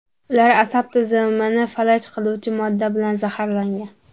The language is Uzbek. Ular asab tizimini falaj qiluvchi modda bilan zaharlangan.